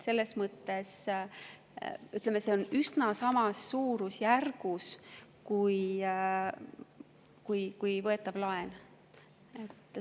See on üsna samas suurusjärgus kui võetav laen.